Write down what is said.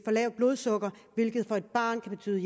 lavt blodsukker hvilket for et barn kan betyde